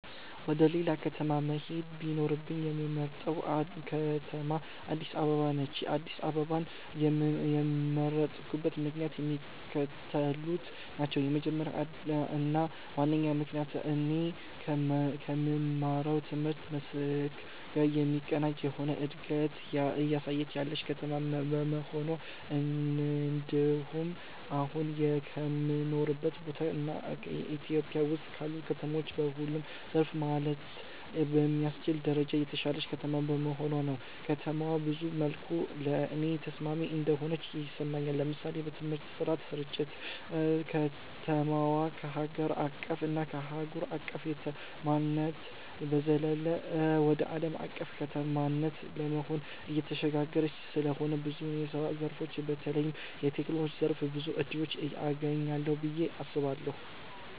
ወደ ሌላ ከተማ መሄድ ቢኖርብኝ የምመርጣት ከተማ አድስ አበባ ነች። አድስ አበባን የመረጥኩበት ምክንያትም የሚከተሉት ናቸው። የመጀመሪያው እና ዋነኛው ምክንያቴ እኔ ከምማረው ትምህርት መስክ ጋር የሚቀናጅ የሆነ እንደገት እያሳየች ያለች ከተማ በመሆኗ እንድሁም አሁን ከምኖርበት ቦታ እና ኢትዮጵያ ውስጥ ካሉ ከተሞች በሁሉም ዘርፍ ማለት በሚያስችል ደረጃ የተሻለች ከተማ በመሆኗ ነው። ከተማዋ ብዙ መልኩ ለኔ ተስማሚ እንደሆነች ይሰማኛል። ለምሳሌ በትምህርት ጥራት ስርጭት፣ ከተማዋ ከሀገር አቀፍ እና አህጉር አቅፍ ከተማነት በዘለለ ወደ አለም አቀፍ ከተማነት ለመሆን እየተሸጋገረች ስለሆነ ብዙ የስራ ዘርፎች በተለይም በቴክኖሎጂው ዘርፍ ብዙ እድሎችን አገኛለሁ ብየ አስባለሁ።